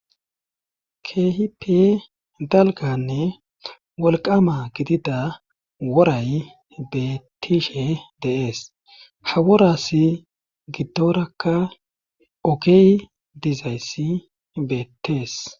kehipe dalganne wolqama gidida woray beettishe deees haworas gidorakka ogey dizayssi beettees